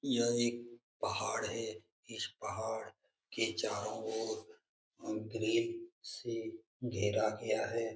यह एक पहाड़ है। इस पहाड़ के चारों ओर उ ग्रिल से घेरा गया है ।